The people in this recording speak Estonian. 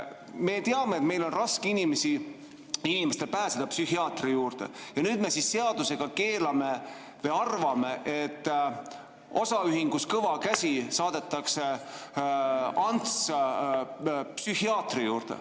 Me teame, et meil on raske inimestel pääseda psühhiaatri juurde, ja nüüd me seadusega keelame või arvame, et osaühingus Kõva Käsi saadetakse Ants psühhiaatri juurde.